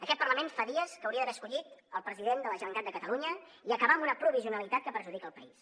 aquest parlament fa dies que hauria d’haver escollit el president de la generalitat de catalunya i acabar amb una provisionalitat que perjudica el país